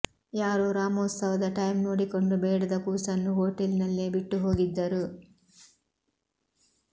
ಯಾರೋ ರಾಮೋತ್ಸವದ ಟೈಮ್ ನೋಡಿಕೊಂಡು ಬೇಡದ ಕೂಸನ್ನು ಹೋಟೆಲಿನಲ್ಲೇ ಬಿಟ್ಟು ಹೋಗಿದ್ದರು